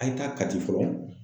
A' ye taa Kati fɔlɔ.